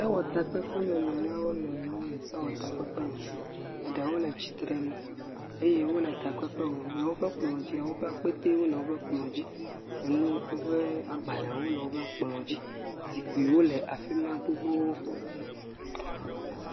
Sewɔlawo wonɔ anyi ɖe sewɔtakpekpe me. Eɖewo le tsitre nu eye wole takpekpe wɔm. Le woƒe kplɔ dzia, woƒe akpeteewo le kplɔa dzi. Enu, woƒe agbalẽwo le woƒe kplɔa dzi. Enuwo le afima gbogbogbo.